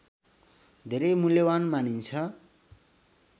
धेरै मूल्यवान् मानिन्छ